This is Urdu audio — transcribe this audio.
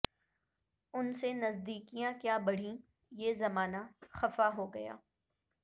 ان سے نزدیکیاں کیا بڑھیں یہ زمانہ خفا ہوگیا